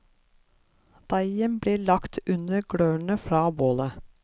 Deigen blir lagt under glørne fra bålet.